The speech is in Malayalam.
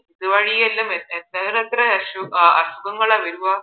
ഇതുവഴിയെല്ലാം എത്ര എത്ര അസുഖങ്ങളാ വരുവാ